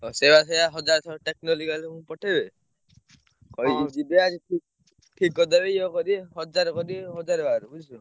ଆଉ ସିଏବା ସେୟା ହଜାର ଥର ପଠେଇବେ। କହିବେ ଯିବେ ଆଜି ପୁଣି ଠିକ୍ କରିଦେବେ ଇଏ କରିବେ, ହଜାର କରିବେ ହଜାର ବାର ବୁଝିଲ?